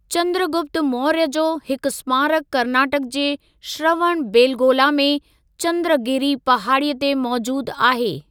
चंद्रगुप्त मौर्य जो हिक स्मारक कर्नाटक जे श्रवणबेलगोला में चंद्रगिरि पहाड़ी ते मौजूद आहे।